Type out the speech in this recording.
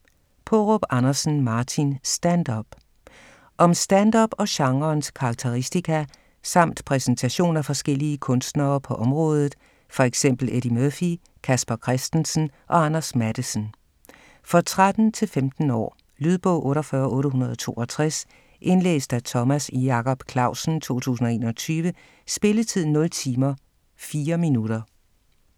Paarup Andersen, Martin: Stand-up Om stand-up og genrens karakteristika samt præsentation af forskellige kunstnere på området - for eksempel Eddie Murphy, Casper Christensen og Anders Matthesen. For 13-15 år. Lydbog 48862 Indlæst af Thomas Jacob Clausen, 2021. Spilletid: 0 timer, 4 minutter.